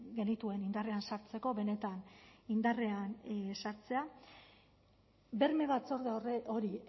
genituen indarrean sartzeko benetan indarrean ezartzea berme batzorde hori